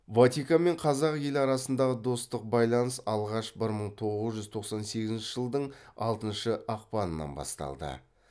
ватикан мен қазақ елі арасындағы достық байланыс алғаш бір мың тоғыз жүз тоқсан сегізінші жылдың алтыншы ақпанынан басталды